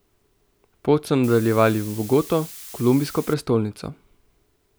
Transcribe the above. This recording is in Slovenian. Pot so nadaljevali v Bogoto, kolumbijsko prestolnico.